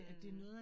Mh